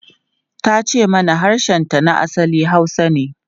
Ta ce mana harshenta na asali Hausa ne.